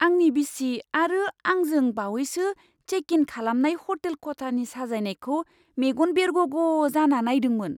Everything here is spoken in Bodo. आंनि बिसि आरो आं जों बावैसो चेक इन खालामनाय हटेल खथानि साजायनायखौ मेगन बेरगग' जाना नायदोंमोन।